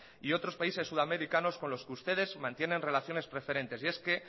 y otros países sudamericanos con los que ustedes mantienen relaciones preferentes y es que